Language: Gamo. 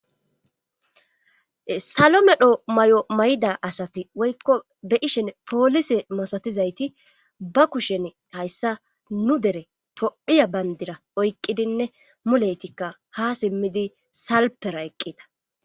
salo medho mayo may7ida asati woykko be ishen poolise masatizayti ba kushen hayssa nu dere tophphiya bandira oyqqidinne muleytikka ha simmidi salpera eqqida.